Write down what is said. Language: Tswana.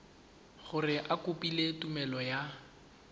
gore o kopile tumelelo ya